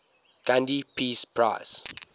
gandhi peace prize